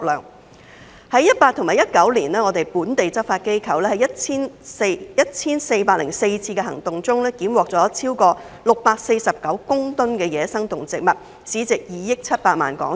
在2018年和2019年，本地執法機構在 1,404 次的行動中檢獲超過649公噸野生動植物，市值2億700萬港元。